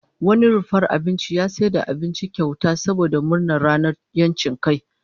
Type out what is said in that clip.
Wani rumfar abinci ya raba abinci kyauta saboda murnar ranar 'yancin kai